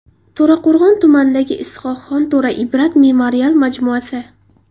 To‘raqo‘rg‘on tumanidagi Is’hoqxon To‘ra Ibrat memorial majmuasi.